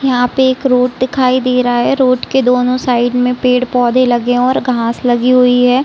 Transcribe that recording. यहाँ पे एक रोड दिखाई दे रहा है। रोड के दोनों साइड में पेड़- पौधे लगे और घास लगी हुई है।